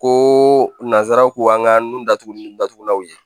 Ko nanzaraw k'an ka nun datugu ni datugulanw ye